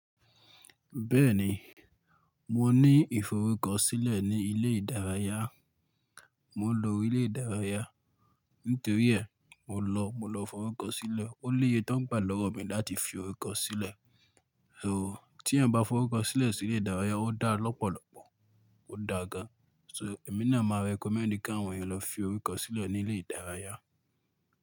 Bẹ́ẹ̀ni, mo ní ìforúkọ sílẹ̀ ní ilé ìdárayá, mò ń lo ilé ìdárayá. Nítorí é, mò lọ, mò lọ forúkọ sílẹ̀. Ó léye tó ń gbà lọ́wọ́ mi láti fi orúkọ sílẹ̀. So tí ẹ̀yán bá forúkọ sílẹ̀ sí ilé ìdárayá ó dá lọ́pọ̀lọ́pọ̀, ó dá gan. So èmi ni mà recommend kí àwọn èyàn lọ fi orúkọ sílẹ̀ ní ilé ìdárayá.